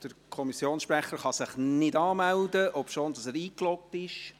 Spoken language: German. Der Kommissionssprecher kann sich nicht anmelden, obwohl er eingeloggt ist.